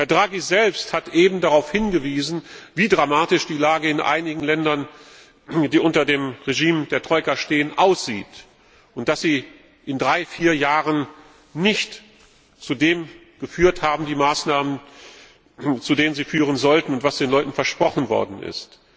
Herr Draghi selbst hat eben darauf hingewiesen, wie dramatisch die Lage in einigen Ländern, die unter dem Regime der Troika stehen, aussieht und dass die Maßnahmen in drei, vier Jahren nicht zu dem geführt haben, zu dem sie führen sollten und was den Leuten versprochen worden ist.